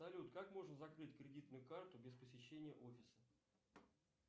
салют как можно закрыть кредитную карту без посещения офиса